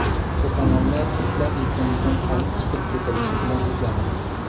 To‘polonlar turklar yurtimizdan olib chiqib ketilishi bilan tugadi.